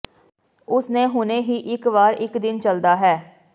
ਉਸ ਨੇ ਹੁਣੇ ਹੀ ਇੱਕ ਵਾਰ ਇੱਕ ਦਿਨ ਚੱਲਦਾ ਹੈ